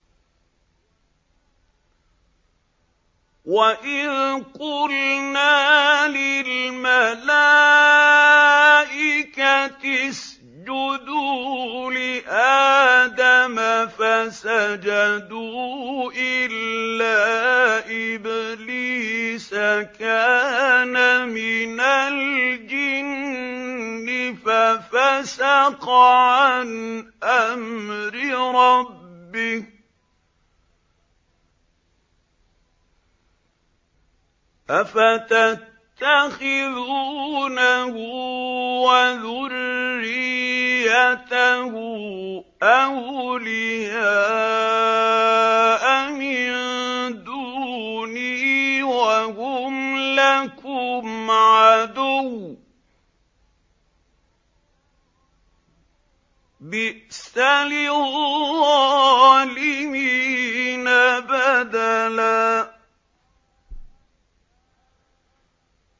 وَإِذْ قُلْنَا لِلْمَلَائِكَةِ اسْجُدُوا لِآدَمَ فَسَجَدُوا إِلَّا إِبْلِيسَ كَانَ مِنَ الْجِنِّ فَفَسَقَ عَنْ أَمْرِ رَبِّهِ ۗ أَفَتَتَّخِذُونَهُ وَذُرِّيَّتَهُ أَوْلِيَاءَ مِن دُونِي وَهُمْ لَكُمْ عَدُوٌّ ۚ بِئْسَ لِلظَّالِمِينَ بَدَلًا